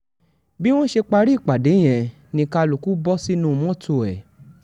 bí wọ́n ṣe parí ìpàdé yẹn ni kálukú bọ́ sínú mọ́tò ẹ̀